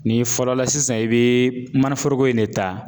N'i fɔlɔ la sisan i bɛ mana foroko in de ta.